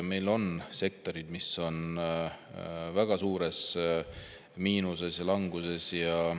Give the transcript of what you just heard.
Meil on sektorid, mis on väga suures miinuses ja languses.